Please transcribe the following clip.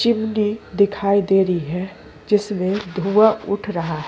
Chimney दिखाई देरी है जिसमें धुआं उठ रहा है।